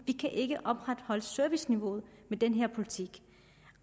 de kan ikke opretholde serviceniveauet med den her politik